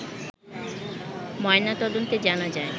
ময়নাতদন্তে জানা যায়